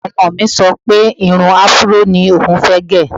Ọmọ mi sọ pé irun afúró ní oùn fẹ́ gẹ̀